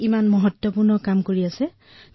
তেওঁ কিমান গুৰুত্বপূৰ্ণ কাম কৰি আছে